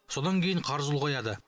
содан кейін қарыз ұлғаяды